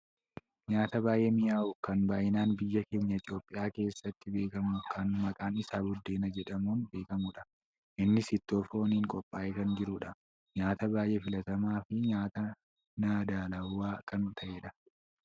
Nyaata baayyee mi'aawu kan baayyinaan biyya keenya biyya Itoopiyaa keessatti beekkamu kan maqaan isaa buddeena jedhamuun beekkamudha. Innis ittoo fooniin qophaa'ee kan jirudha. Nyaata baayyee filatamaafi nyaata nadaallamaa kan ta'edha.